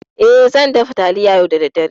E, zan dafa taliya yau da daddare.